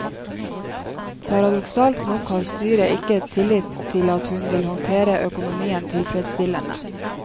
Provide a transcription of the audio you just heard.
Paradoksalt nok har styret ikke tillit til at hun vil håndtere økonomien tilfredsstillende.